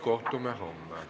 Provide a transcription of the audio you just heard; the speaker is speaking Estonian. Kohtume homme.